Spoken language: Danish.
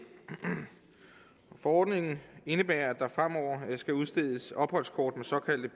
forordningen indebærer at der fremover skal udstedes opholdskort med såkaldte